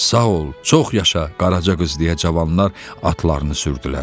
Sağ ol, çox yaşa, Qaraca qız deyə cavanlar atlarını sürdülər.